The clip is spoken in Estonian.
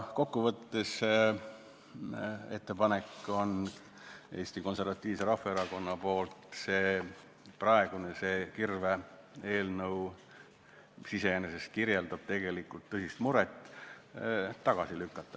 Kokkuvõttes on Eesti Konservatiivsel Rahvaerakonnal ettepanek see praegune kirve-eelnõu, mis iseenesest kirjeldab tõsist muret, tagasi lükata.